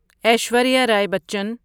Aishwarya Rai Bachchan